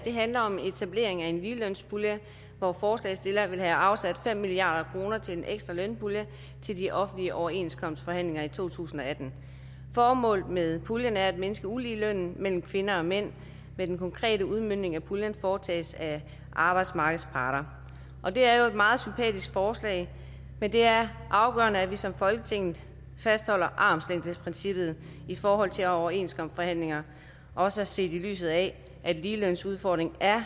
handler om etablering af en ligelønspulje hvor forslagsstillerne vil have afsat fem milliard kroner til en ekstra lønpulje til de offentlige overenskomstforhandlinger i to tusind og atten formålet med puljen er at mindske uligheden mellem kvinder og mænd men den konkrete udmøntning af puljen foretages af arbejdsmarkedets parter det er jo et meget sympatisk forslag men det er afgørende at vi som folketing fastholder armslængdeprincippet i forhold til overenskomstforhandlinger også set i lyset af at ligelønsudfordringen er